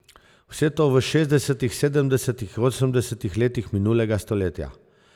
Vse to v šestdesetih, sedemdesetih in osemdesetih letih minulega stoletja.